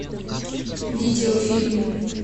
видео фильм